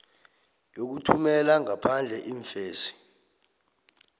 yokuthumela ngaphandle iimfesi